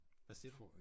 Hvad siger du?